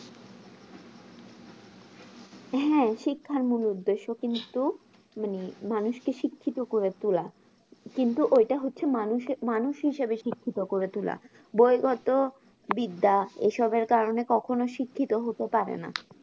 হ্যাঁ শিক্ষার মূল উদ্দেশ্য কিন্তু মানে মানুষকে শিক্ষিত করে তোলা কিন্তু এটা হচ্ছে মানুষে মানুষ হিসাবে শিক্ষিত করে তোলা বৈগত বিদ্যা এইসবের কারণে কখনো শিক্ষিত হতে পারে না